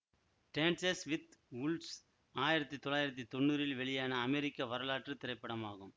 dances with Wolves ஆயிரத்தி தொள்ளாயிரத்தி தொன்னூறில் வெளியான அமெரிக்க வரலாற்று திரைப்படமாகும்